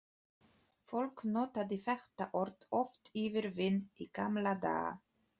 Fólk notaði þetta orð oft yfir vin í gamla daga.